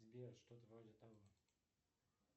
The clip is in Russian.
сбер что то вроде того